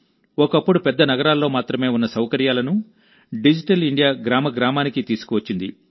ఒకప్పుడు పెద్ద నగరాల్లో మాత్రమే ఉన్న సౌకర్యాలను డిజిటల్ ఇండియా గ్రామ గ్రామానికీ తీసుకువచ్చింది